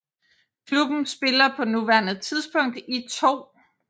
Klubben spiller på nuværende tidspunkt i 2